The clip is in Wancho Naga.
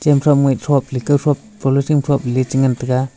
cham thop ngah thople kawthop polythene thople cha ngan taga.